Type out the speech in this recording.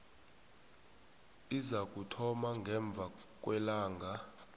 izakuthoma ngemva kwelanga